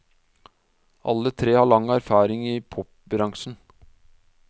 Alle tre har lang erfaring i popbransjen.